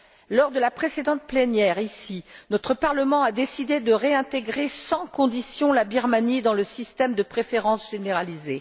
Lors de la précédente plénière, ici, notre Parlement a décidé de réintégrer sans condition la Birmanie dans le système de préférence généralisé.